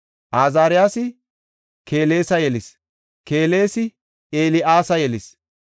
Azaariyasi Kelesa yelis; Kelesi El7aasa yelis;